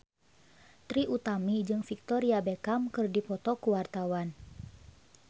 Trie Utami jeung Victoria Beckham keur dipoto ku wartawan